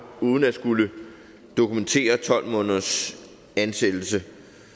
uden at skulle dokumentere tolv måneders ansættelse